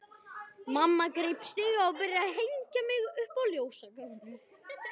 Mamma greip stiga og byrjaði að hengja upp ljósakrónu.